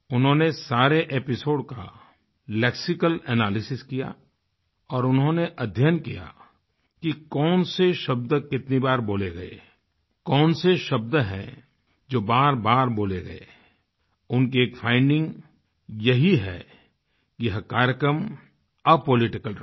उन्होंने सारे एपिसोड का लेक्सिकल एनालिसिस किया और उन्होंने अध्ययन किया कि कौन से शब्द कितनी बार बोले गए कौन से शब्द हैं जो बारबार बोले गए उनकी एक फाइंडिंग यही है कि यह कार्यक्रम अपोलिटिकल रहा